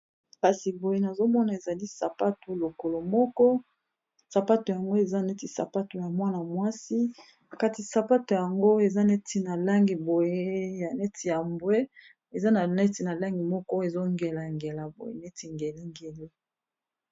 kasi boye nazomona ezali sapato lokolo moko sapato yango eza neti sapato ya mwana mwasi kasi sapato yango eza neti na langi boye ya neti ya mbwe eza na neti na langi moko ezongelengela boye neti ngelengelo